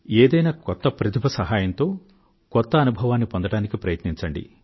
ఏదైనా కొత్త ప్రతిభ సహాయంతో కొత్త అనుభవాన్ని పొందడానికి ప్రయత్నించండి